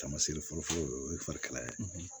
Tamasere folofolo o ye fari kalaya ye